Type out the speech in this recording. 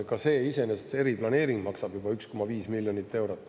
Ka see iseenesest, eriplaneering maksab 1,5 miljonit eurot.